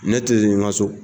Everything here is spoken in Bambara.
Ne te z ŋa so